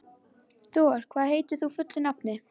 Thor, hvað heitir þú fullu nafni?